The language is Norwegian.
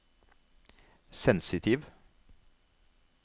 sensitiv